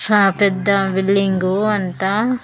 చా పెద్ద బిల్డింగ్ అంట.